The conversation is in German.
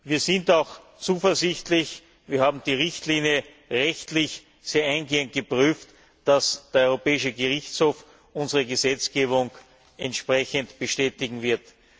Wir sind auch zuversichtlich wir haben die Richtlinie rechtlich sehr eingehend geprüft dass der Europäische Gerichtshof unsere Gesetzgebung entsprechend bestätigen wird.